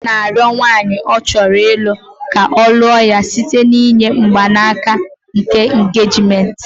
Nwoke na arịo nwanyị ọ chọrọ ịlụ ka ọ lụo ya site n'inye mgbanaka aka engagement